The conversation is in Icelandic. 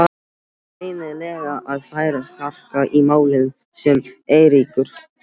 Það er greinilega að færast harka í málin sagði Eiríkur.